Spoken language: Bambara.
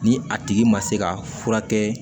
Ni a tigi ma se ka furakɛ